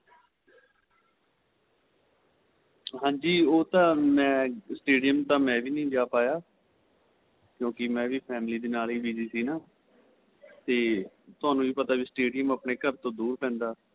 ਹਾਂਜੀ ਉਹ ਤਾਂ ਮੈਂ stadium ਤਾਂ ਮੈਂ ਵੀ ਨਹੀਂ ਜਾਂ ਪਾਇਆ ਕਿਉਂਕਿ ਮੈਂਵੀ family ਦੇ ਨਾਲ ਹੀ busy ਸੀ ਨਾ ਤੇ ਤੁਹਾਨੂੰ ਵੀ ਪਤਾ stadium ਆਪਣੇਂ ਘਰ ਤੋ ਦੂਰ ਪੈਂਦਾ